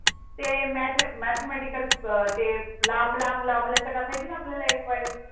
ते म्याथ्या mathamatical ते लांब लांब लांब लाचक असायची आपल्या